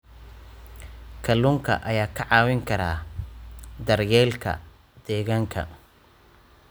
Kalluunka ayaa kaa caawin kara daryeelka deegaanka.